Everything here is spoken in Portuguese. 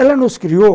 Ela nos criou.